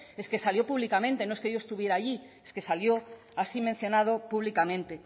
es que salió públicamente no es que yo estuviera ahí es que salió así mencionado públicamente